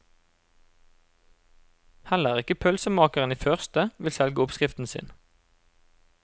Heller ikke pølsemakeren i første, vil selge oppskriften sin.